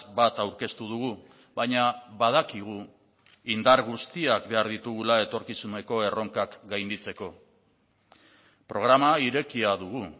bat aurkeztu dugu baina badakigu indar guztiak behar ditugula etorkizuneko erronkak gainditzeko programa irekia dugu